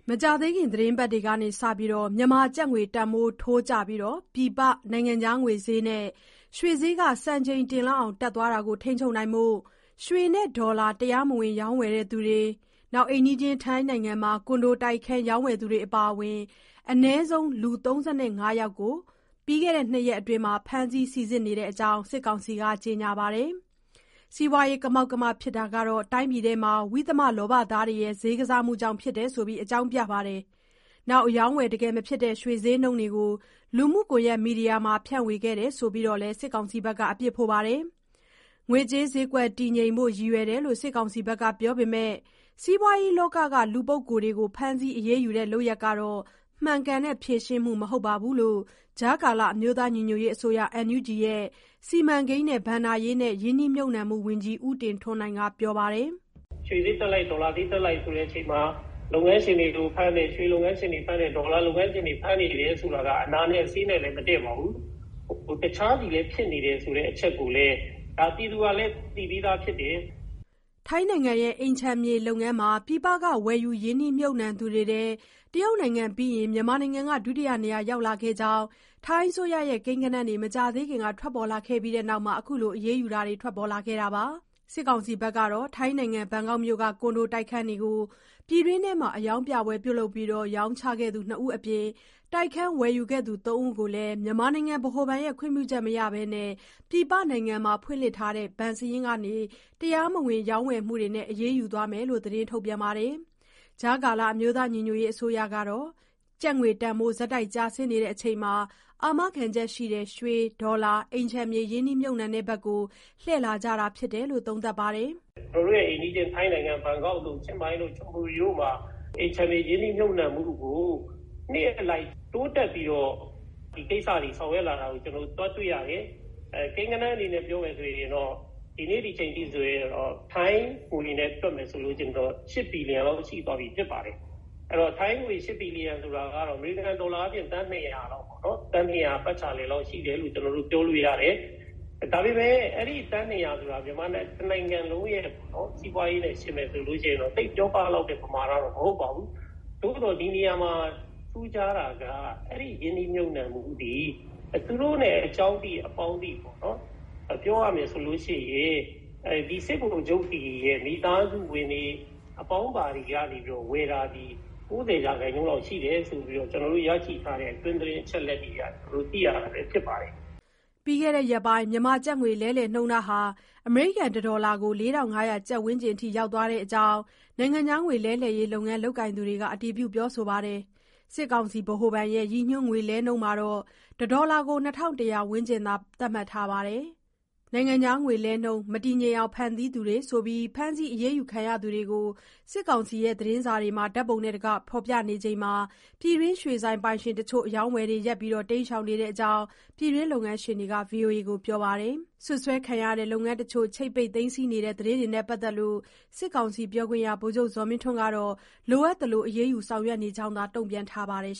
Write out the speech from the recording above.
မကြာသေးခင် သီတင်းပတ်တွေစက မြန်မာကျပ်ငွေ တန်ဖိုးထိုးကျပြီး ပြင်ပနိုင်ငံခြားငွေဈေးနဲ့ ရွှေဈေး စံချိန်တင်လောက်အောင် တက်သွားတာကို ထိန်းချုပ်ဖို့ ရွှေနဲ့ ဒေါ်လာ တရားမဝင် ရောင်းဝယ်သူ၊ ထိုင်းနိုင်ငံမှာ ကွန်ဒိုတိုက်ခန်းရောင်းဝယ်သူတွေ အပါအဝင် စုစုပေါင်း အနည်းဆုံး ၃၅ ယောက်ကို ပြီးခဲ့တဲ့ ၂ ရက်အတွင်း ဖမ်းဆီးစိစစ်နေတဲ့အကြောင်း စစ်ကောင်စီက ကြေညာပါတယ်။ စီးပွားရေး ကမောက်ကမ ဖြစ်တာဟာ တိုင်းပြည်အတွင်း ဝိသမလောဘသားတွေရဲ့ ဈေးကစားမှုကြောင့် ဖြစ်တယ်ဆိုပြီး အကြောင်းပြသလို အရောင်းအဝယ် တကယ်မဖြစ်တဲ့ ရွေဈေးနှုန်းတွေကို လူမှုကွန်ယက်မီဒီယာတွေမှာ ဖြန့်ဝေခဲ့တယ်ဆိုပြီး စစ်ကောင်စီက အပြစ်ဖို့ပါတယ်။ ငွေကြးဈေးကွက် တည်ငြိမ်ဖို့ ရည်ရွယ်တယ်လို့ စစ်ကောင်စီက ပြောပေမဲ့ စီးပွားရေးလောကက လူပုဂ္ဂိုလ်တွေကို ဖမ်းဆီးအရေးယူတဲ့ လုပ်ရပ်ဟာ မှန်ကန်တဲ့ ဖြေရှင်းမှု မဟုတ်ဘူးလို့ ကြားကာလ အမျိုးသားညီညွတ်ရေးအစိုးရ NUG ရဲ့ စီမံကိန်း၊ ဘဏ္ဍာရေးနှင့် ရင်းနှီးမြှုပ်နှံမှုဝန်ကြီး ဦးတင်ထွန်းနိုင်က ပြောပါတယ်။ "ရွှေဈေးတက်လိုက်၊ ဒေါ်လာဈေးတက်လိုက် ဆိုတဲ့အခြေအနေမှာ လုပ်ငန်းရှင်တွေကိုဖမ်းတယ်။ ရွှေလုပ်ငန်းရှင်တွေ ဖမ်းတယ်၊ ဒေါ်လာလုပ်ငန်းရှင်တွေ ဖမ်းနေတယ်ဆိုတာက အနာနဲ့ ဆေးနဲ့လည်း မတည့်ပါဘူး။ တခြားသူလည်း ဖြစ်နေတယ်ဆိုတဲ့ အချက်ကိုလည်း ပြည်သူကလည်း သိပြီးသားဖြစ်တယ်။" ထိုင်းနိုင်ငံ အိမ်ခြံမြေလုပ်ငန်းမှာ ပြည်ပက ဝယ်ယူရင်းနှီးမြှုပ်နှံသူတွေထဲ တရုတ်နိုင်ငံပြီးရင်၊ မြန်မာနိုင်ငံက ဒုတိယနေရာ ရောက်လာခဲ့ကြောင်း ထိုင်းအစိုးရရဲ့ ကိန်းဂဏန်းတွေ မကြာသေးခင်က ထွက်ပေါ်လာခဲ့ပြီးနောက် အခုလို အရေးယူတာတွေလည်း ထွက်ပေါ်လာခဲ့တာပါ။ ဘန်ကောက်မြို့က ကွန်ဒိုတိုက်ခန်းတွေကို ပြည်တွင်းထဲမှာ အရောင်းပြပွဲပြုလုပ်ပြီး ရောင်းချခဲ့သူ ၂ ဦးအပြင်၊ တိုက်ခန်းဝယ်ယူခဲ့သူ ၃ ဦးကိုလည်း မြန်မာနိုင်ငံ ဗဟိုဘဏ်ရဲ့ ခွင့်ပြုချက်မရှိဘဲ ပြည်ပနိုင်ငံမှာ ဖွင့်လှစ်ထားတဲ့ ဘဏ်စာရင်းကနေ တရားမဝင် ဝယ်ယူမှုနဲ့ အရေးယူသွားမယ်လို့ စစ်ကောင်စီက သတင်းထုတ်ပြန်ခဲ့ပါတယ်။ ကြားကာလ အမျိုးသားညီညွတ်ရေးအစိုးရ NUG ကတော့ ကျပ်ငွေတန်ဖိုး ဆက်တိုက်ကျဆင်းနေချိန် အာမခံချက်ရှိတဲ့ ရွှေ၊ ဒေါ်လာနဲ့ အိမ်ခြံမြေ ရင်းနှီးမြှုပ်နှံတဲ့ဘက်ကို လှည့်လာကြတာဖြစ်တယ်လို့ သုံးသပ်ပါတယ်။ "ကျနော်တို့ရဲ့ အိမ်နီးချင်း ထိုင်းနိုင်ငံ၊ ဘန်ကောက်၊ ချင်းမိုင်၊ ချွန်ပူရီမှာ အိမ်ခြံမြေ ရင်းနှီးမြှုပ်နှံမှုကို နှစ်အလိုက် တိုးတက်ပြီးတော့ ဒီကိစ္စတွေ ဆောင်ရွက်လာတာ တွေ့ရတယ်။ ကိန်းဂဏန်းတွေနဲ့ ပြောမယ်ဆိုရင်တော့ ဒီနေ့ဒီအချိန်ထိ ထိုင်းငွေနဲ့ တွက်မယ်ဆိုရင်တော့ ၈ ဘီလီယံလောက် ရှိပြီဖြစ်ပါတယ်။ အဲတော့ ထိုင်းငွေ ၈ ဘီလီယံဆိုတာကတော့ အမေရိကန်ဒေါ်လာ သန်း ၂၀၀ ပတ်ချာလည်လောက် ရှိတယ်လို့ ပြောလို့ရတယ်။ ဒါပေမဲ့ အဲဒီ သန်း ၂၀၀ ဆိုတာ မြန်မာတနိုင်ငံလုံးရဲ့ စီးပွားရေးနဲ့ ယှဉ်မယ်ဆိုရင်တော့ သိပ်ပြောပလောက်တဲ့ ပမာဏတော့ မဟုတ်ပါဘူး။ သို့သော် ဒီနေရာမှာ ထူးခြားတာက အဲဒီရင်းနှီးမြှုပ်နှံမှုသည် သူတို့နဲ့ အကြောင်းသိ၊ အပေါင်းသိ စစ်ဗိုလ်ချုပ်တွေရဲ့ မိသားစုဝင်တွေ၊ အပေါင်းပါတွေက နေပြီးတော့ ဝယ်တာသည် ၉၀ ရာခိုင်နှုန်းလောက် ရှိတယ်ဆိုပြီးတော့ ကျနော်တို့ရရှိထားတဲ့ အတွင်းသတင်း အချက်အလက်တွေအရ သိရတာပဲဖြစ်ပါတယ်။" ပြီးခဲ့တဲ့ ရက်ပိုင်း မြန်မာကျပ်ငွေလဲနှုန်းဟာ အမေရိကန် တဒေါ်လာကို ၄၅၀၀ ကျပ် ဝန်းကျင်အထိ ရောက်သွားတဲ့အကြောင်း နိုင်ငံခြားငွေလဲလှယ်ရေး လုပ်ငန်းလုပ်ကိုင်သူတွေက အတည်ပြုပြောဆိုပါတယ်။ စစ်ကောင်စီ ဗဟိုဘဏ်ရဲ့ ရည်ညွှန်းငွေလဲနှုန်းမှာတော့ တဒေါ်လာကို ၂၁၀၀ ဝန်းကျင်သာ သတ်မှတ်ထားပါတယ်။ နိုင်ငံခြားငွေလဲနှုန်း မတည်ငြိမ်အောင် ဖန်တီးသူတွေဆိုပြီး ဖမ်းဆီးအရေးယူ ခံရသူတွေကို စစ်ကောင်စီသတင်းစာမှာ ဓါတ်ပုံတွေနဲ့ တကွ ဖေါ်ပြနေချိန် ပြည်တွင်းရွှေဆိုင်ပိုင်ရှင်တချို့ အရောင်းအဝယ်တွေ ရပ်ပြီး တိမ်းရှောင်နေတဲ့အကြောင်း ပြည်တွင်းလုပ်ငန်းရှင်တွေက VOA ကို ပြောပါတယ်။ စွပ်စွဲခံရတဲ့ လုပ်ငန်းတချို့ကို ချိတ်ပိတ်သိမ်းဆည်းနေတဲ့ သတင်းတွေနဲ့ ပတ်သက်လို့ စစ်ကောင်စီပြောခွင့်ရ ဗိုလ်ချုပ်ဇော်မင်းထွန်းကတော့ လိုအပ်သလို အရေးယူဆောင်ရွက်နေကြောင်းသာ တုံ့ပြန်ထားပါတယ်